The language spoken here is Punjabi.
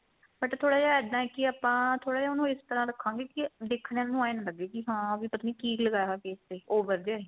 but ਥੋੜਾ ਜਾ ਇੱਦਾਂ ਏ ਕੀ ਆਪਾਂ ਥੋੜਾ ਜਾ ਉਹਨੂੰ ਉਸ ਤਰ੍ਹਾਂ ਰੱਖਾਂਗੇ ਕੀ ਦੇਖਣ ਨੂੰ ਇਹ ਨਾ ਲੱਗੇ ਕੀ ਹਾਂ ਵੀ ਪਤਾ ਨੀ ਕੀ ਲਗਾਇਆ ਹੋਇਆ face ਤੇ over ਜਾ ਹੀ